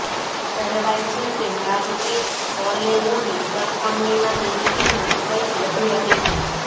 કહેવાય છે કે મારૂતિ બલેનોની સરખામણીમાં તેની કિંમત કંઇક વધુ રહેશે